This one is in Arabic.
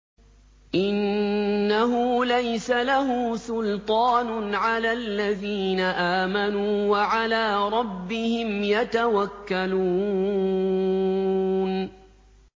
إِنَّهُ لَيْسَ لَهُ سُلْطَانٌ عَلَى الَّذِينَ آمَنُوا وَعَلَىٰ رَبِّهِمْ يَتَوَكَّلُونَ